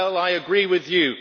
Well, I agree with you.